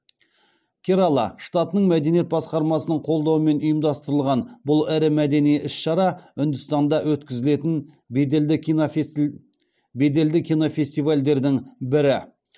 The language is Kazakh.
керала штатының мәдениет басқармасының қолдауымен ұйымдастырылған бұл ірі мәдени іс шара үндістанда өткізілетін беделді кинофестивальдердің бірі